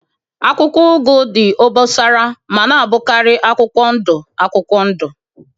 Akwụkwọ ugu dị obosara ma na-abụkarị akwụkwọ ndụ akwụkwọ ndụ